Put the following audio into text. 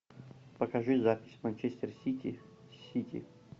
покажи запись манчестер сити с сити